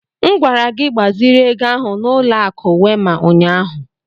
M gwara gị gbaziri ego ahụ n'ụlọ akụ Wema ụnyahụ!